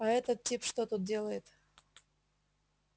а этот тип что тут делает